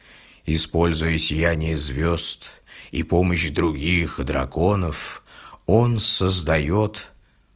используя сияние звёзд и помощь других драконов он создаёт